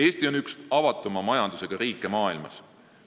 Eesti on üks avatuma majandusega riike maailmas.